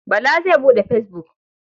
Bala zai buɗe fesbuk.